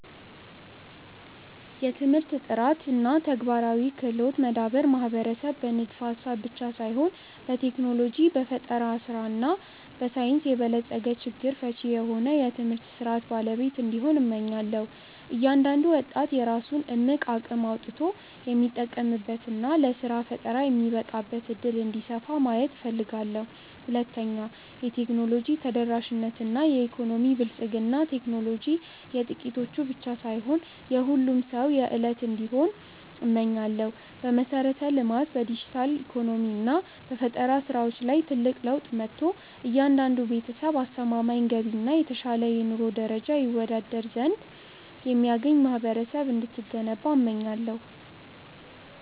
1. የትምህርት ጥራት እና የተግባራዊ ክህሎት መዳበር ማህበረሰብ በንድፈ-ሐሳብ ብቻ ሳይሆን በቴክኖሎጂ፣ በፈጠራ እና በሳይንስ የበለጸገ፣ ችግር ፈቺ የሆነ የትምህርት ሥርዓት ባለቤት እንዲሆን፣ እመኛለሁ። እያንዳንዱ ወጣት የራሱን እምቅ አቅም አውጥቶ የሚጠቀምበት እና ለሥራ ፈጠራ የሚበቃበት ዕድል እንዲሰፋ ማየት እፈልጋለሁ። 2. የቴክኖሎጂ ተደራሽነት እና የኢኮኖሚ ብልጽግና ቴክኖሎጂ የጥቂቶች ብቻ ሳይሆን የሁሉም ሰው የዕለት እንዲሆን እመኛለሁ። በመሠረተ-ልማት፣ በዲጂታል ኢኮኖሚ እና በፈጠራ ሥራዎች ላይ ትልቅ ለውጥ መጥቶ፣ እያንዳንዱ ቤተሰብ አስተማማኝ ገቢ እና የተሻለ የኑሮ ደረጃ ይወዳድር የሚያገኝ ማህበረሰብ እንድትገነባ እመኛለሁ።